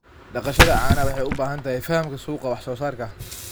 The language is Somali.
Dhaqashada caanaha waxay u baahan tahay fahamka suuqa wax soo saarka.